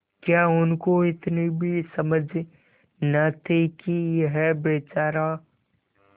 क्या उनको इतनी भी समझ न थी कि यह बेचारा